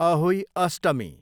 Ahoi Ashtami